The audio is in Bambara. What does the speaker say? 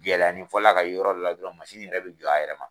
Gɛlɛya ni fɔlɔla ka ye yɔrɔ dɔ la dɔrɔn yɛrɛ bi jɔ, a yɛrɛ ma.